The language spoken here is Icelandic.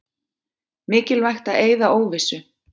Mikilvægt að eyða óvissu